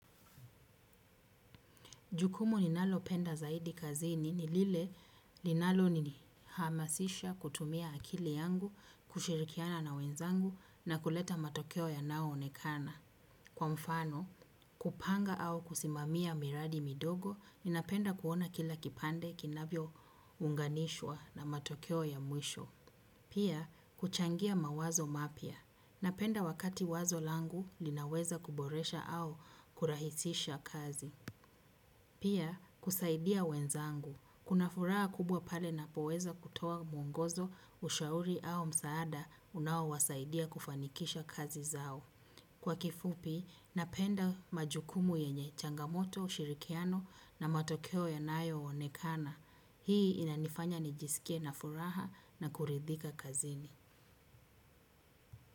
Jukumu ninalo penda zaidi kazini nilile linalo nini hamasisha kutumia akili yangu kushirikiana na wenzangu na kuleta matokeo ya nao onekana. Kwa mfano kupanga au kusimamia miradi midogo ninapenda kuona kila kipande kinavyo unganishwa na matokeo ya mwisho. Pia kuchangia mawazo mapia. Napenda wakati wazo langu linaweza kuboresha au kurahisisha kazi. Pia, kusaidia wenzangu. Kuna furaha kubwa pale napoweza kutoa mwongozo ushauri au msaada unao wasaidia kufanikisha kazi zao. Kwa kifupi, napenda majukumu yenye changamoto, shirikiano na matokeo ya nayo onekana. Hii inanifanya nijisikie na furaha na kuridhika kazini.